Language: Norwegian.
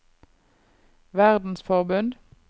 verdensforbund